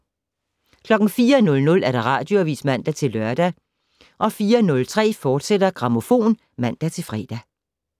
04:00: Radioavis (man-lør) 04:03: Grammofon *(man-fre)